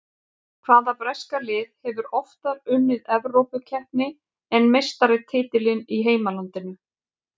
Hvaða breska lið hefur oftar unnið Evrópukeppni en meistaratitilinn í heimalandinu?